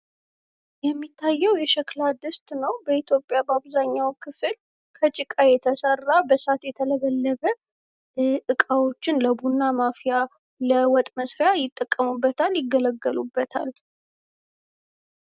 ይህ የሚያየው የሸክላ ድስት ነው። በኢትዮጵያ በአብዛኛው ክፍል ከጭቃ የተሰራ በእሳት የተለበለበ እቃዎችን ለቡና ማፍያ፣ ለወጥ መስሪያ፣ ለተለያየ ስራ ይጠቀሙበታል። ይገለገሉበታል።